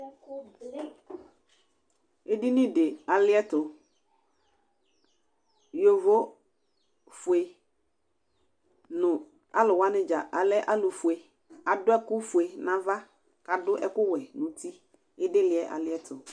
Edini di aliɛtʋ yovofue nʋ alʋwani dza alɛ alʋfue, adʋ ɛkʋfue nʋ ava kʋ adʋ ɛkʋwɛ nʋ uti, idili yɛ aliɛtʋ